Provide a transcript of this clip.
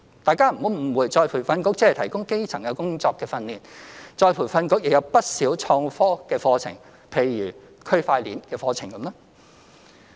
大家不要誤會再培訓局只提供基層工作的訓練，再培訓局亦有不少創科的課程，譬如區塊鏈的課程。